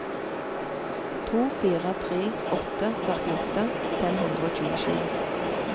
to fire tre åtte førtiåtte fem hundre og tjuesju